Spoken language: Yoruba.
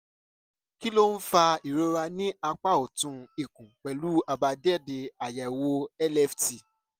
kí ló ń fa ìrora ní apá ọ̀tún ikùn pẹ̀lú àbájáde àyẹ̀wò lft?